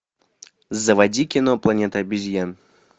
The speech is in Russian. заводи кино планета обезьян